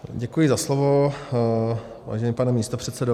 Děkuji za slovo, vážený pane místopředsedo.